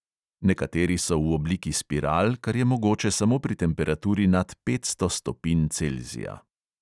Nekateri so v obliki spiral, kar je mogoče samo pri temperaturi nad petsto stopinj celzija.